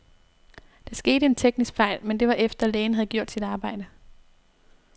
Der skete en teknisk fejl, men det var efter, lægen havde gjort sit arbejde.